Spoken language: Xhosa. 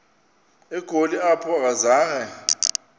egoli apho akazanga